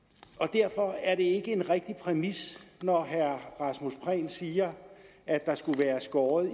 derfor er det ikke en rigtig præmis når herre rasmus prehn siger at der skulle være skåret